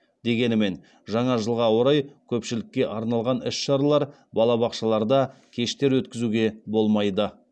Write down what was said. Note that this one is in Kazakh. дегенімен жаңа жылға орай көпшілікке арналған іс шаралар балабақшаларда кештер өткізуге болмайды